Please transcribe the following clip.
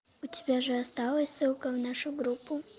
у тебя же осталась ссылка в нашу группу